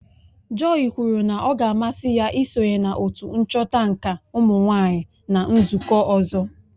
Joy kwuru na ọ ga-amasị ya isonye na otu nchọta nka ụmụnwaanyị na nzụkọ ọzọ